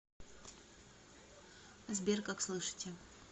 сбер как слышите